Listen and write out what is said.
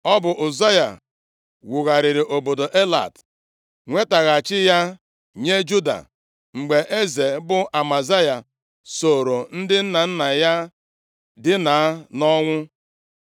Ọ bụ Ụzaya wugharịrị obodo Elat, nwetaghachi ya nye Juda mgbe eze bụ Amazaya sooro ndị nna nna ya dinaa nʼọnwụ.